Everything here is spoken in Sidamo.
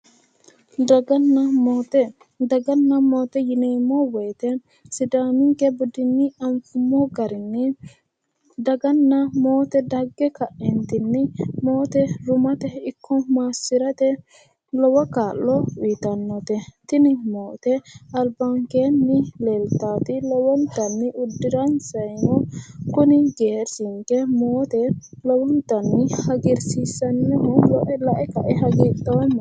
dagana maate daganna maate yineemmo wote sidaaminke budinni afummo garinni daganna maate dagge kaeentinni moote rumate ikko maassirate lowo kaa'lo uyiitannote tini moote albankeenni leeltaati lowontanni uddiransannino kuni geerchinke lowontanni hagiirsiisannoho lae kaeno hagiidhoomma.